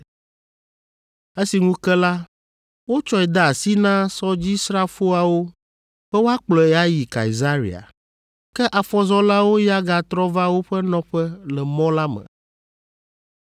Esi ŋu ke la, wotsɔe de asi na sɔdzisrafoawo be woakplɔe ayi Kaesarea, ke afɔzɔlawo ya gatrɔ va woƒe nɔƒe le mɔ la me.